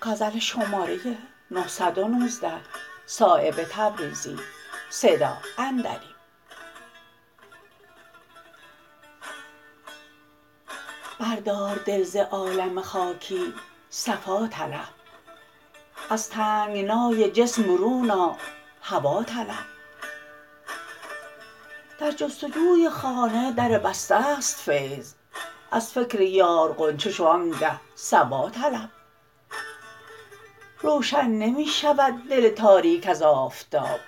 بردار دل ز عالم خاکی صفا طلب از تنگنای جسم برون آ هوا طلب در جستجوی خانه در بسته است فیض از فکر یار غنچه شو آنگه صبا طلب روشن نمی شود دل تاریک از آفتاب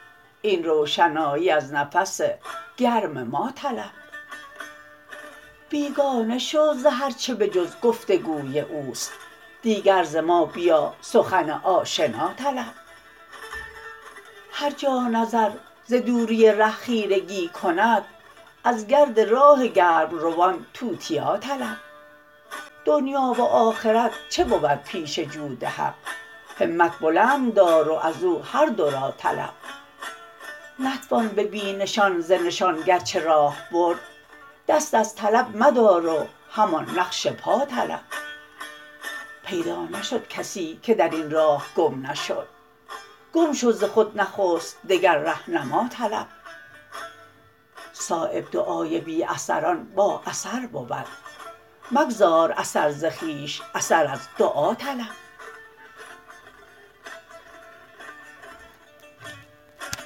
این روشنایی از نفس گرم ما طلب بیگانه شو ز هر چه به جز گفتگوی اوست دیگر ز ما بیا سخن آشنا طلب هر جا نظر ز دوری ره خیرگی کند از گرد راه گرمروان توتیا طلب دنیا و آخرت چه بود پیش جود حق همت بلند دار و ازو هر دو را طلب نتوان به بی نشان ز نشان گرچه راه برد دست از طلب مدار و همان نقش پا طلب پیدا نشد کسی که درین راه گم نشد گم شو ز خود نخست دگر رهنما طلب صایب دعای بی اثران با اثر بود مگذار اثر ز خویش اثر از دعا طلب